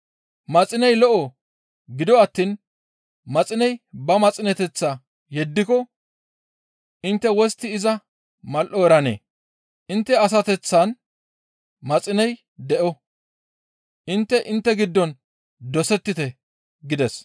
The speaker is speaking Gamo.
«Maxiney lo7o; gido attiin maxiney ba maxineteththaa yeddiko intte wostti iza mal7o eranee? Intte asateththan maxiney de7o. Intte intte giddon dosettite» gides.